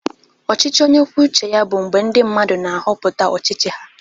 Ọchịchị onye kwuo uche ya bụ mgbe ndị mmadụ na-ahọpụta ọchịchị ha.